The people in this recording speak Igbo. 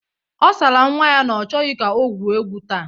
Ọ sara nwa ya na ọ chọghọ ka o gwuo egwu taa.